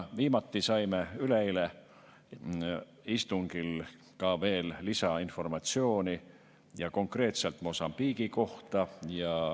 Viimati saime üleeile istungil veel lisainformatsiooni konkreetselt Mosambiigi kohta.